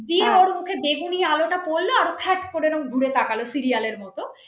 দিয়ে ওর মুখে বেগুনি আলোটা পড়লো আর ফ্যাট করে রকম ঘুরে তাকালো serial সিরিয়ালের মত ।